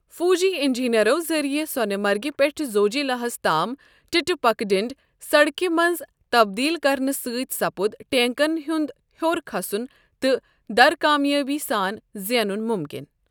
فوجی انجینئرو ذریعہ سونہٕ مرگہِ پیٹھہٕ زوجی لاہس تام ٹٕٹہِ پکہ ڈٕنڈ سڈكہِ منٛز تبدیل كرنہٕ سٕتۍ سپُد ٹینكن ہنٛد ہِیوٚر كھسن تہٕ درٕ كامیٲبی سان زینُن مُمكِن ۔